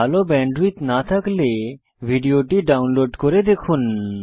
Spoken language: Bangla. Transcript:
ভাল ব্যান্ডউইডথ না থাকলে ভিডিওটি ডাউনলোড করে দেখুন